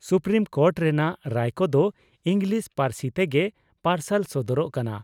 Supreme court ᱨᱮᱱᱟᱜ ᱨᱟᱭ ᱠᱚᱫᱚ ᱤᱸᱜᱽᱞᱤᱥ ᱯᱟᱹᱨᱥᱤ ᱛᱮᱜᱮ ᱯᱟᱨᱥᱟᱞ ᱥᱚᱫᱚᱨᱚᱜ ᱠᱟᱱᱟ ᱾